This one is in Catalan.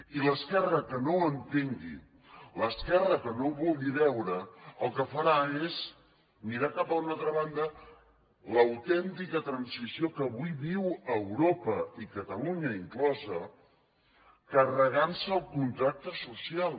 i l’esquerra que no ho entengui l’esquerra que no ho vulgui veure el que farà és mirar cap a una altra banda l’autèntica transició que avui viu europa i catalunya inclosa carregant se el contracte social